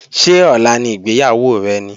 Ṣé ọ̀la ni ìgbéyàwó rẹ ni?